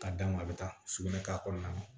Ka d'a ma a bɛ taa sugunɛ k'a kɔnɔna na